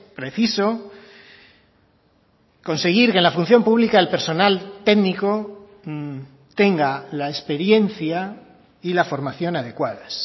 preciso conseguir que la función pública el personal técnico tenga la experiencia y la formación adecuadas